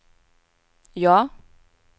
ja